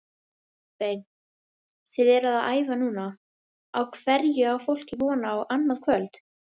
Kolbeinn, þið eruð að æfa núna, á hverju á fólk von á annað kvöld?